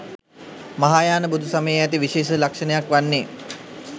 මහායාන බුදු සමයේ ඇති විශේෂිත ලක්‍ෂණයක් වන්නේ